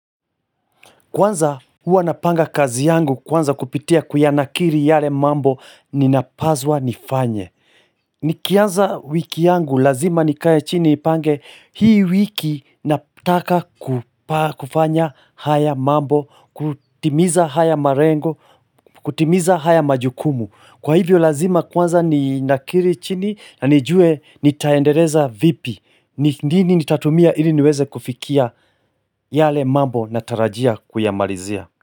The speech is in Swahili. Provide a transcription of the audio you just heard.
Kwanza, huwa napanga kazi yangu kwanza kupitia kuyanakiri yale mambo ninapazwa nifanye. Nikianza wiki yangu lazima nikaye chini nipange hii wiki natakakupa kufanya haya mambo, kutimiza haya malengo, kutimiza haya majukumu. Kwa hivyo lazima kwanza ninakiri chini na nijue nitaendeleza vipi, nini nitatumia ili niweze kufikia yale mambo natarajia kuyamalizia.